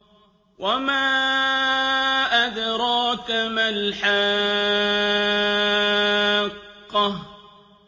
وَمَا أَدْرَاكَ مَا الْحَاقَّةُ